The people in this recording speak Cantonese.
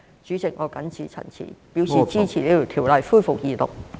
主席，我謹此陳辭，支持《條例草案》恢復二讀。